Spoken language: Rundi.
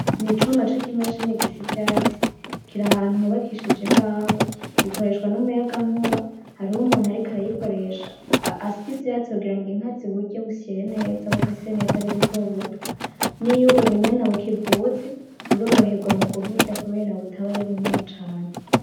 Ni icuma c'ikimashini gisya ivyatsi. Kiri ahantu hubakishije imbaho. Ikoreshwa n'umuyagankuba, hariho umuntu ariko arayikoresha asya ivyatsi kugira ngo inka ziburye busyeye neza bukase bumeze neza ari butobuto. Niyo ubunyana bukivuka, buroroherwa mu kuburya kubara butaba ari bunini cane.